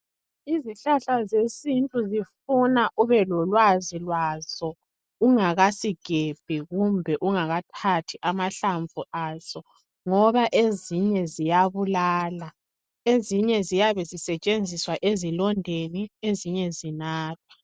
Izihlahla zesintu zifuna ubelolwazi lwazo ungakasigembi kumbe ungakathathi amahlamvu aso ngoba ezinye ziyabulala. Ezinye ziyabezisetshenziswa ezilondeni ezinye zinathwa.